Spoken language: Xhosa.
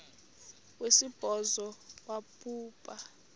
wesibhozo wabhu bha